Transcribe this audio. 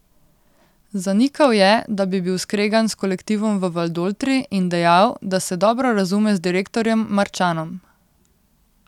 Zanikal je, da bi bil skregan s kolektivom v Valdoltri in dejal, da se dobro razume z direktorjem Marčanom.